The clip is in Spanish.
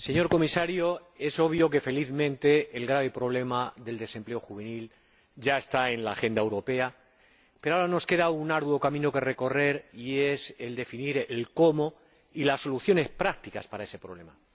Señora Presidenta, señor Comisario, es obvio que, felizmente, el grave problema del desempleo juvenil ya está en la agenda europea, pero ahora nos queda un arduo camino que recorrer y es el definir el cómo y las soluciones prácticas para ese problema.